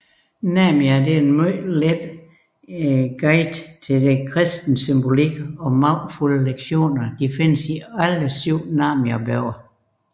Narnia er et lettilgængeligt guide til den kristne symbolik og magtfulde lektioner findes i alle syv Narnia bøger